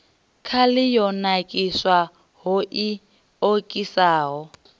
khali yo nakiswaho i okisaho